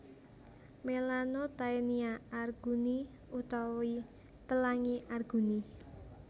Melanotaenia arguni utawi Pelangi Arguni